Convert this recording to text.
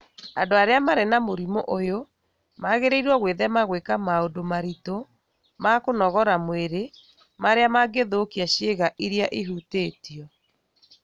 Andũ arĩa marĩ na mũrimũ ũyũ magĩrĩirũo gwĩthema gwĩka maũndũ maritũ ma kũnogora mwĩrĩ marĩa mangĩthũkia ciĩga iria ihutĩtio.